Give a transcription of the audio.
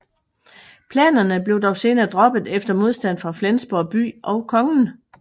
Planerne blev dog senere droppet efter modstand fra Flensborg by og kongen